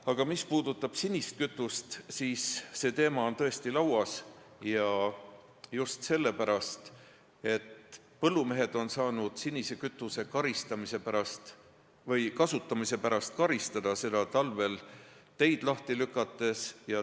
Aga mis puudutab sinist kütust, siis see teema on tõesti laual ja just sellepärast, et põllumehed on saanud sinise kütuse kasutamise pärast karistada – seda talvel teid lahti lükates.